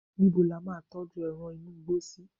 níbo la ma n tọju eran inú igbó sí